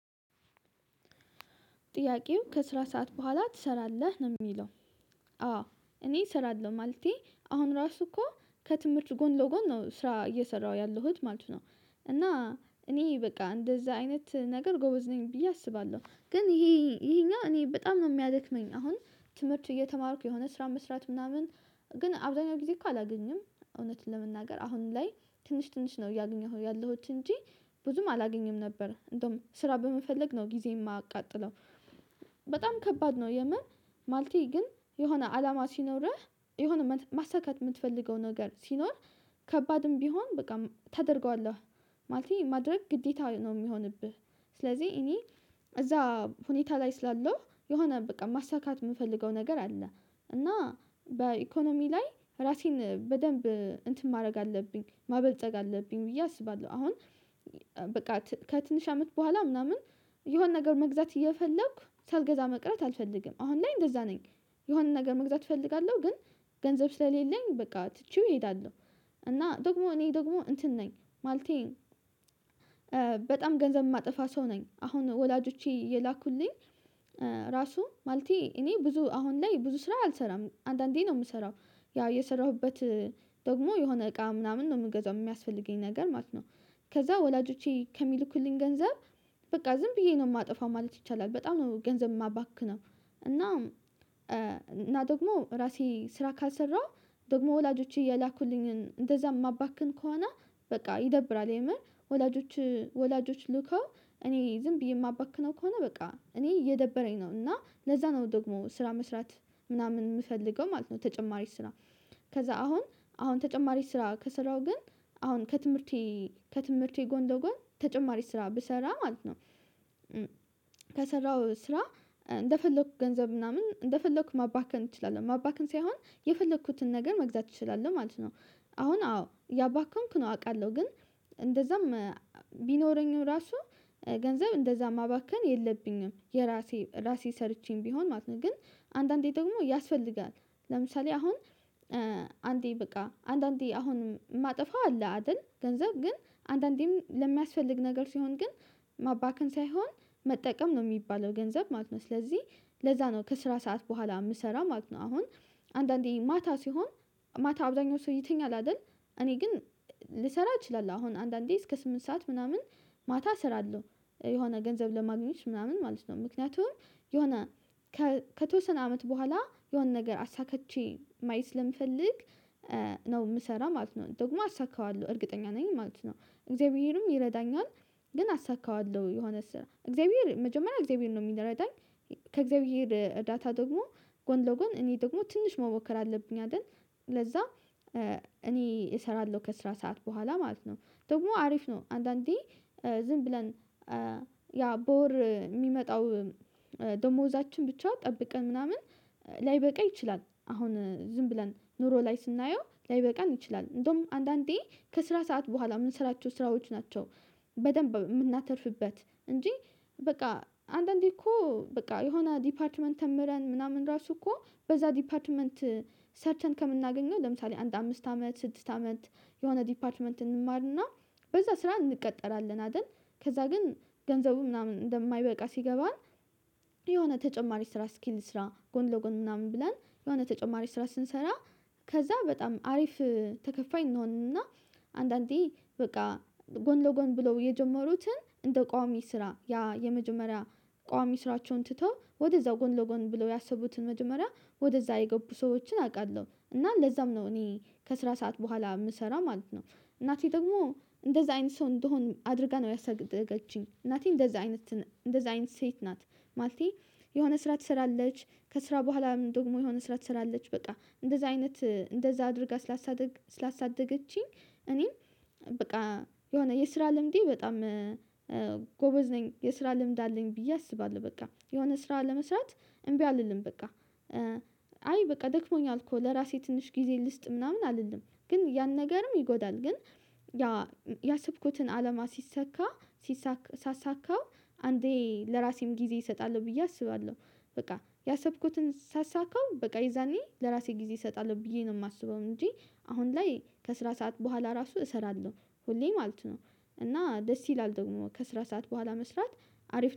ጥያቄው ከስራ ሰዓት በኋላ ትሰራለህ ነው የሚለው? አዎ እኔ እሰራለሁ ማለቴ አሁን ራሱ እኮ ከትምህርት ጎን ለጎን ነው ስራ እየሰራሁ ያለሁት ማለት ነው። እና እኔ በቃ እንደዚያ አይነት ነገር ጎበዝ ነኝ ብዬ አስባለሁ ግን ይሄ ይሄኛው እኔ በጣም ነው የሚያደክመኝ አሁን ትምህርት እየተማርኩ የሆነ ስራ መስራት ምናምን ግን አብዛኛው ጊዜ እኮ አላገኝም እውነትን ለመናገር አሁን ላይ ትንሽ ትንሽ ነው እያገኘሁ ያለሁት እንጂ ብዙም አላገኘም ነበር እንደውም ስራ በመፈለግ ነው ጊዜ የማቃጥለው። በጣም ከባድ ነው የምር ማሌቴ ግን የሆነ አላማ ሲኖርህ የሆነ ማሳካት የምትፈልገው ነገር ሲኖር ከባድም ቢሆን በቃ ታደርገዋለህ ማለት ማድረግ ግዴታ ነው የሚሆንብህ። ስለዚህ እኔ እዚያ ሁኔታ ላይ ስላለው የሆነ በቃ ማሳካት የምፈልገው ነገር አለ እና በኢኮኖሚ ላይ ራሴን በደንብ እንትን ማድረግ አለብኝ ማበልጸግ አለብኝ ብዬ አስባለሁ። አሁን በቃ ከትንሽ አመት በኋላ ምናምን የሆነ ነገር መግዛት እየፈለኩ ሳልገዛ መቅረት አልፈልግም አሁን ላይ እንደዚያ ነኝ። የሆነ ነገር መግዛት እፈልጋለሁ ግን ገንዘብ ስለሌለኝ በቃ ትቼው እሄዳለሁ። እና ደግሞ እኔ ደግሞ እንትን ነኝ ማለቴ በጣም ገንዘብ የማጠፋ ሰው ነኝ አሁን ወላጆቼ የላኩልኝ። ራሱ ማለቴ እኔ ብዙ አሁን ላይ ብዙ ስራ አልሰራም አንዳንዴ ነው የምሰራው ያው እየሰራሁበት ደግሞ የሆነ እቃ ምናምን ነው የምገዛው የሚያስፈልገኝ ነገር ማለት ነው። ከዚያ ወላጆቼ ከሚልኩልኝ ገንዘብ በቃ ዝም ብዬ ነው የማጠፋው ማለት ይቻላል በጣም ነው ገንዘብ የማባክነው። እና እና ደግሞ ራሴ ስራ ካልሰራሁ ደግሞ ወላጆቼ የላኩልኝን እንደዚያ የማባክን ከሆነ በቃ ይደብራል የምር ወላጆች ወላጆች ልከው እኔ ዝም ብዬ የማባክነው ከሆነ በቃ እኔ እየደበረኝ ነው እና ለዚያ ነው ደግሞ ስራ መስራት ምናምን የምፈልገው ማለት ነው። ተጨማሪ ስራ ከዚያ አሁን አሁን ተጨማሪ ስራ ከስራው ግን አሁን ከትምህርቴ ከትምህርቴ ጎን ለጎን ተጨማሪ ስራ ብሰራ ማለት ነው ከሰራው ስራ እንደፈለኩት ገንዘብ ምናምን እንደፈለኩት ማባከን ችላለህ ማባከን ሳይሆን የፈለኩትን ነገር መግዛት እችላለሁ ማለት ነው። አሁን አዎ እያባከንኩ ነው አውቃለሁ ግን እንደዛም ቢኖረኝ ራሱ ገንዘብ እንደዚያ ማባከን የለብኝም የራሴ ራሴ ሰርቼም ቢሆን ማለት ነው ግን አንዳንዴ ደግሞ ያስፈልጋል ለምሳሌ አሁን አንዴ በቃ አንዳንዴ አሁን ማጠፋ አለ አይደል ገንዘብ ግን አንዳንዴም ለሚያስፈልግ ነገር ሲሆን ግን ማባከን ሳይሆን መጠቀም ነው የሚባለው ገንዘብ ማለት ነው። ስለዚህ ለዚያ ነው ከስራ ሰዓት በኋላ የምሰራ ማለት ነው። አሁን አንዳንዴ ማታ ሲሆን ማታ አብዛኛው ሰው ይተኛል አይደል እኔ ግን ልሰራ እችላለሁ አሁን አንዳንዴ እስከ ስምንት ሰዓት ምናምን ማታ ሰራለው የሆነ ገንዘብ ለማግኘት ምናምን ማለት ነው። ምክንያቱም የሆነ ከተወሰነ አመት በኋላ የሆነ ነገር አሳክቼ ማየት ስለምፈልግ ነው የምሰራ ማለት ነው ደግሞ አሳካዋለሁ እርግጠኛ ነኝ ማለት ነው እግዚአብሔርም ይረዳኛል። ግን አሳካዋለሁ የሆነ ስራ እግዚአብሔር መጀመሪያ እግዚአብሔር ነው የሚረዳኝ ከእግዚአብሔር እርዳታ ደግሞ ጎን ለጎን እኔ ደግሞ ትንሽ መሞከር አለብኝ አይደል። ለዚያ እኔ እሰራለሁ ከስራ ሰዓት በኋላ ማለት ነው ደግሞ አሪፍ ነው አንዳንዴ ዝም ብለን ያ በወር የሚመጣው ደሞዛችን ብቻ ጠብቀን ምናምን ላይበቃ ይችላል አሁን ዝም ብለን ኑሮ ላይ ስናየው ላይበቃን ይችላል እንደውም አንዳንዴ ከስራ ሰዓት በኋላ የምንሰራቸው ስራዎች ናቸው። በደንብ የምናተርፍበት እንጂ በቃ አንዳንዴ እኮ በቃ የሆነ ዲፓርትመንት ተምረን ምናምን ራሱ እኮ በዚያ ዲፓርትመንት ሰርተን ከምናገኘው ለምሳሌ አንድ አምስት አመት ስድስት አመት የሆነ ዲፓርትመንት እንማርና በዚያ ስራ እንቀጠራለን አይደል ከዚያ ግን ገንዘቡ ምናምን እንደማይበቃ ሲገባን የሆነ ተጨማሪ ስራ ስኪል ስራ ጎን ለጎን ምናምን ብላን የሆነ ተጨማሪ ስራ ስንሰራ ከዚያ በጣም አሪፍ ተከፋይ እንሆንና አንዳንዴ በቃ ጎን ለጎን ብለው የጀመሩትን እንደ ቋሚ ስራ ያ የመጀመሪያ ቋሚ ስራቸውን ትተው ወደዛው ጎን ለጎን ብለው ያሰቡትን መጀመሪያ ወደዛ የገቡ ሰዎችን አውቃለሁ እና ለዛም ነው እኔ ከስራ ሰዓት በኋላ የምሰራ ማለት ነው። እናቴ ደግሞ እንደዛ አይነት ሰው እንደሆን አድርጋ ነው ያሰደገችኝ እናቴ እንደዛ አይነት እንደዛ አይነት ሴት ናት። ማለቴ የሆነ ስራ ትሰራለች ከስራ በኋላ ምን ደግሞ የሆነ ስራ ትሰራለች በቃ እንደዛ አይነት እንደዛ አድርጋ ስላሳደገችኝ እኔ በቃ የሆነ የስራ ልምዴ በጣም ጎበዝ ነኝ የስራ ልምድ አለኝ ብዬ አስባለሁ። በቃ የሆነ ስራ ለመስራት እምቢ አልልም በቃ አይ በቃ ደክሞኛል እኮ ለራሴ ትንሽ ጊዜ ልስጥ ምናምን አልልም ግን ያን ነገርም ይጎዳል ግን ያ ያሰብኩትን አለማ ሲሰካ ሲሳካ ሳሳካው አንዴ ለራሴም ጊዜ እሰጣለሁ ብዬ አስባለሁ በቃ ያሰብኩትን ሳሳካው በቃ ይዛኔ ለራሴ ጊዜ እሰጣለሁ ብዬ ነው የማስበው እንጂ። አሁን ላይ ከስራ ሰዓት በኋላ ራሱ እሰራለሁ ሁሌ ማለት ነው። እና ደስ ይላል ደግሞ ከስራ ሰዓት በኋላ መስራት አሪፍ